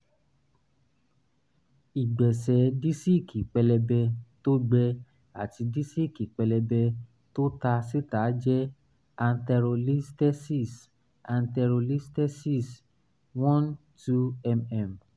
ìgbẹ̀sẹ̀ díísíkì pẹlẹbẹ tó gbẹ àti díísíkì pẹlẹbẹ tó ta síta jẹ anterolisthesis anterolisthesis one - two mm